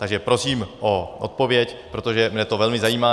Takže prosím o odpověď, protože mě to velmi zajímá.